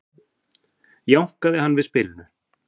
jánkaði hann við spilinu